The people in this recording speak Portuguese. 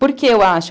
Por que eu acho?